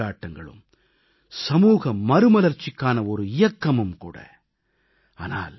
நமது பண்டிகைகளும் கொண்டாட்டங்களும் சமூக மறுமலர்ச்சிக்கான ஒரு இயக்கமும் கூட